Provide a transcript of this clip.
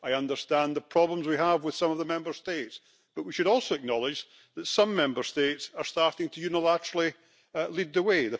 I understand the problems we have with some of the Member States, but we should also acknowledge that some Member States are starting to unilaterally lead the way.